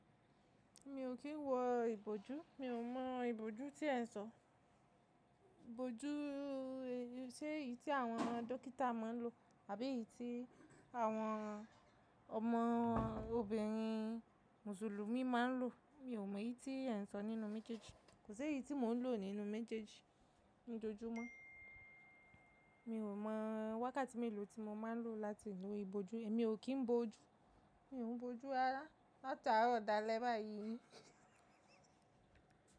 Mi ò kí ń wọ ìbòjú. Mi ò mọ ìbòjú tí ẹ n sọ. Ìbòjú, ṣe èyí tí àwọn dókítà máa ń lò àbí èyí tí àwọn ọmọ obìnrin mùsùlùmí máa ń lò? Mi ò mọ èyí tí ẹ n sọ nínú mejeji. Kò sé yí tí mò ń lò nínú mi jẹ́jẹ́ ní ojojúmọ́. Mi ò mọ wákàtí mélòó tí mo máa ń lò láti lo ìbòjú. Èmi ò kí ń bo ojú. Mi ò ń bo ojú rárá. Látaárọ̀ dalẹ́ báyìí.